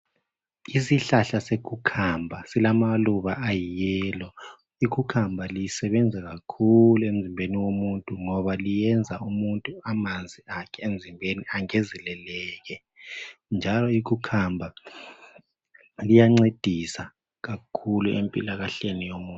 Isihlahla se cucumber silamaluba ayi yellow. Icucumber lisebenza kakhulu emzimbeni womuntu ngoba liyenza umuntu amanzi akhe emzimbeni angenzeleleke njalo icucumber liyancedisa kakhulu empilakahleni yomuntu.